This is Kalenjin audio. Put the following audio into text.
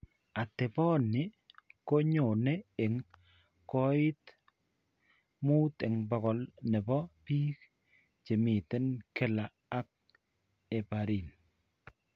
Ateponi ko nyone eng' koit 5% ne po biik che miiten kila ak heparin.